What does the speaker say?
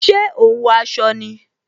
Ṣé o ń wọ aṣọ ni?